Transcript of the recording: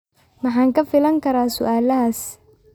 Maxaan ka filan karaa su'aalahaas?